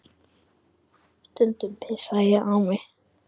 Stundum pissaði ég á mig.